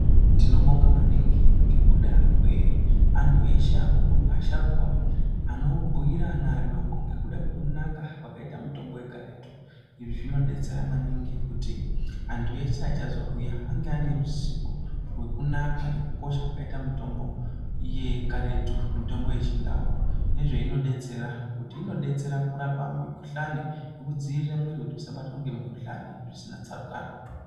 Tinobonga maningi ngekuda kweantu eshe akuru, asharukwa anobhuyira ana adoko ngekuda kwekunaka kwakaita mitombo yekaretu. Izvi zvinodetsera maningi kuti antu eshe achazouya ange ane ruzivo rwekunaka nekukosha kwakaita mitombo yekaretu mitombo yeChiNdau nezveinodetsera kuti inodetsera kurapa mikuhlane nekudziirire kuti mwiri yedu isabatwe nemikuhlane zvisina tsarukano.